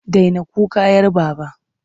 Daina kuka 'yar Baba!